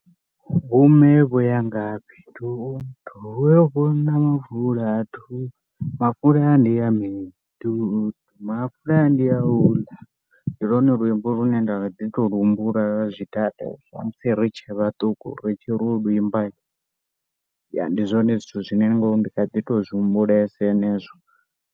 Vhomme vho ya ngafhi toto, vho yo fula mafula toto, mafula ndi ya mini toto, mafula ndi a u ḽa. Ndi lwone luimbo lune nda kha ḓi tou lu humbula lwa zwidade na musi ri tshe vhaṱuku ri tshi ri u lu imba hi. Ya ndi zwone zwithu zwine ndi kha ḓi tou zwi humbulesa henezwo.